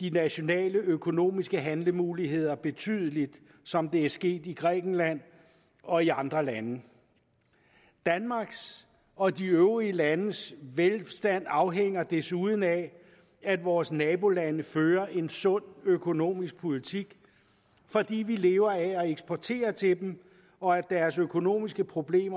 de nationale økonomiske handlemuligheder betydeligt som det er sket i grækenland og i andre lande danmarks og de øvrige landes velstand afhænger desuden af at vores nabolande fører en sund økonomisk politik fordi vi lever af at eksportere til dem og deres økonomiske problemer